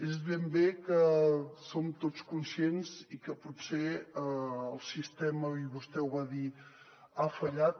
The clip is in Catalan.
és ben bé que en som tots conscients i que potser el sistema i vostè ho va dir ha fallat